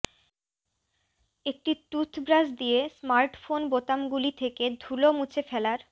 একটি টুথব্রাশ দিয়ে স্মার্টফোন বোতামগুলি থেকে ধুলো মুছে ফেলার